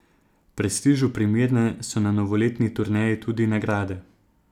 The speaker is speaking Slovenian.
Prestižu primerne so na novoletni turneji tudi nagrade.